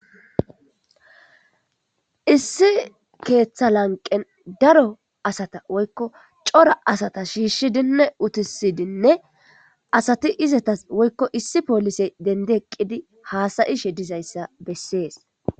issi keeththa lanqen daro asata woykko cora asata shiishshidinne utisidinne asati izatas woykko issi poolisey dendi eqqidi haasayishe dizayssa bessees